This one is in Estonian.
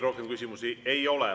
Rohkem küsimusi ei ole.